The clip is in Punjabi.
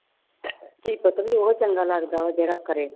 ਧੀ ਪੁੱਤ ਵੀ ਉਹ ਚੰਗਾ ਲੱਗਦਾ ਵਾ ਜਿਹੜਾ ਕਰੇ।